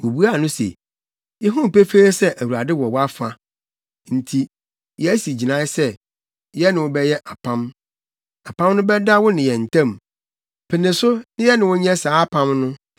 Wobuaa no se, “Yehu pefee sɛ Awurade wɔ wʼafa nti, yɛasi gyinae sɛ, yɛne wo bɛyɛ apam. Apam no bɛda wo ne yɛn ntam. Pene so, na yɛne wo nyɛ saa apam no